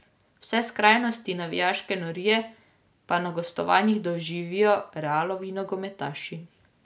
Vse skrajnosti navijaške norije pa na gostovanjih doživijo Realovi nogometaši.